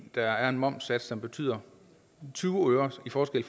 der er en momssats som betyder tyve øres forskel i